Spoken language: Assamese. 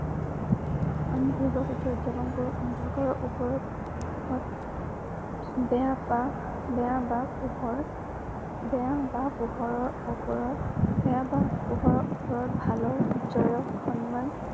আমি দুৰ্গা পূজা উদযাপন কৰোঁ অন্ধকাৰৰ উপৰত বেয়া পা বেয়া বা পোহৰ বেয়া বা পোহৰৰ উপৰত বেয়া বা পোহৰৰ উপৰত ভালৰ জয়ক সন্মান বেয়া বা ভালৰ উপৰত জয়ক সন্মান জনোৱাৰ বাবে।